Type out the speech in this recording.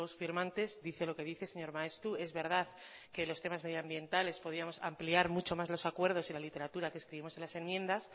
firmantes dice lo que dice señor maeztu es verdad que los temas medioambientales podíamos ampliar mucho más los acuerdos y la literatura que escribimos en las enmiendas